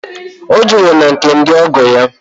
Ọ jere na nke ndị ọgọ ya